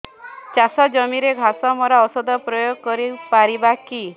ଚାଷ ଜମିରେ ଘାସ ମରା ଔଷଧ ପ୍ରୟୋଗ କରି ପାରିବା କି